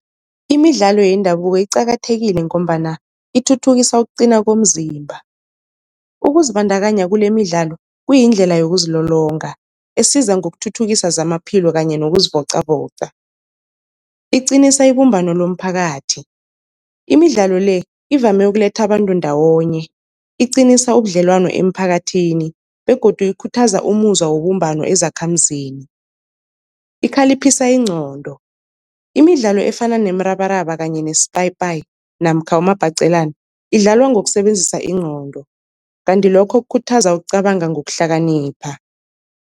Imidlalo yendabuko iqakathekile ngombana ithuthukisa ukuqina komzimba, ukuzibandakanya kulemidlalo kuyindlela yokuzilolonga esiza ngokuthuthukisa zamaphilo kanye nokuzivocavoca. Iqinisa ibumbano lomphakathi, imidlalo le ivame ukuletha abantu ndawonye iqinisa ubudlelwano emphakathini begodu ikhuthaza umuzwa webumbano ezakhamizini. Ikhaliphisa ingqondo, imidlalo efana nemrabaraba kanye nespayipayi namkha umabhaqelana idlalwa ngokusebenzisa ingqondo, kanti lokho kukhuthaza ukucabanga ngokuhlakanipha.